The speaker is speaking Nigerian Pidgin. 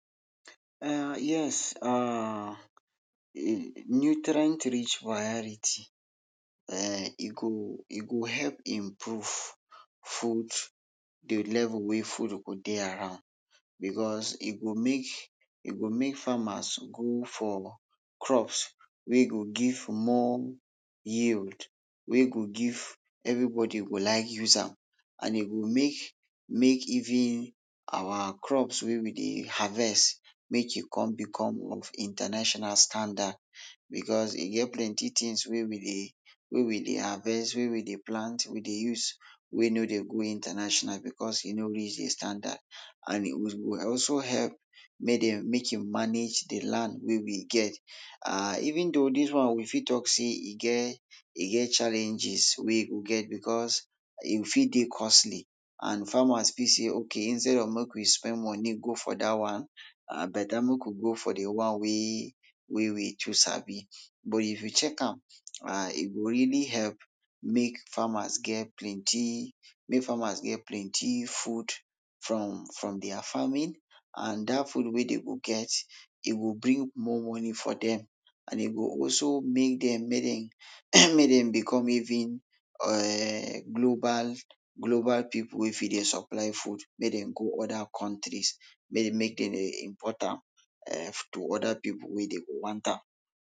um yes um nutrient rich for, um e go, ego help improve food, to level wey food go dey around becos e go make, e go make farmers go for crops wey go give more yield, wey go give, everybodi go like use am and e go make, make even our crops wey we dey harvest, make e come become of international standard. Becos e get plenti tins, wey we dey, wey we dey harvest, wey we dey plant, we dey use wey no dey go international becos e no reach dey standard and it would also help make den, make e manage de land wey we get um even though dis one we fit talk sey e get, e get challenges wey go get becos e fit dey costly and farmers fit sey ok, instead of make we spend money go for dat one, ah beta make we go for dey one wey we too sabi. But if you check am, um e go really help make farmers get plenty, make farmers get plenty food from, from dia farming, and dat food wey dey go get, e go bring more money for dem and e go also make dem make dem make dem become even um global, global pipul wey de even supply food make dem go oda kontries, make, make dem dey import am um to oda pipul wey dey go want am.